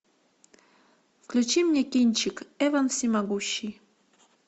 включи мне кинчик эван всемогущий